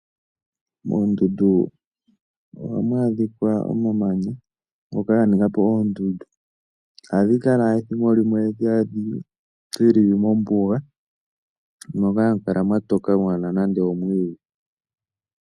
Moondundu ohamu adhika omamanya ngoka ga ninga po oondundu, ohadhi kala ethimbo limwe dhili mombuga moka mwatoka kaamuna nande omwiidhi.